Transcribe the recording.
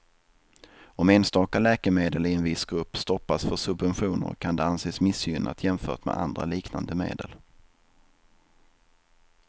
Om enstaka läkemedel i en viss grupp stoppas för subventioner kan det anses missgynnat jämfört med andra liknande medel.